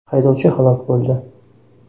Haydovchi halok bo‘ldi.